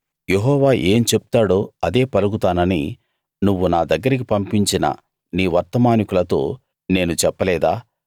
యెహోవా ఏం చెప్తాడో అదే పలుకుతానని నువ్వు నా దగ్గరికి పంపించిన నీ వర్తమానికులతో నేను చెప్పలేదా